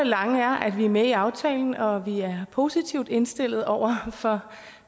lange er at vi er med i aftalen og at vi er positivt indstillet over for